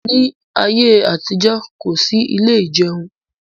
Ní ayé àtijọ́, kò sí ilé ìjẹun